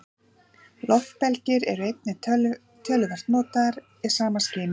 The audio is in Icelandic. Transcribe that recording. Loftbelgir voru einnig töluvert notaðir í sama skyni.